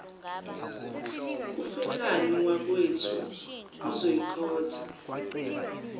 ufelani wakwethu uzoyikhotha